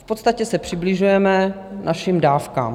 V podstatě se přibližujeme našim dávkám.